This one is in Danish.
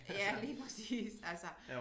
Ja lige præcis altså